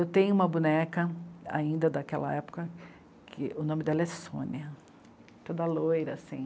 Eu tenho uma boneca, ainda daquela época, que o nome dela é Sônia, toda loira, assim.